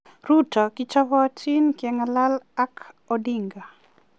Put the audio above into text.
Ruto: Kichobotin kegalal ak Odinga.